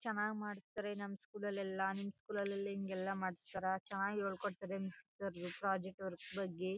ಚನ್ನಾಗ್ ಮಾಡ್ತಿದಾರೆ ನಮ್ಮ್ ಸ್ಕೂಲ್ ಅಲ್ಲಿ ಎಲ್ಲ ನಿಮ್ ಸ್ಕೂಲ್ ಅಲ್ಲಿ ಹಿಂಗ್ಯೆಲ್ಲ ಮಾಡಿಸ್ತಾರಾ ಚನ್ನಾಗ್ ಹೇಳ್ಕೊಡ್ತಾರೆ ನಿಮ್ ಅಲ್ಲಿ ಪ್ರಾಜೆಕ್ಟ್ ವರ್ಕ್ ಬಗ್ಗೆ --